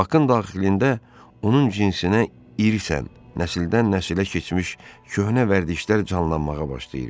Bakın daxilində onun cinsinə irsən, nəsildən-nəsilə keçmiş köhnə vərdişlər canlanmağa başlayırdı.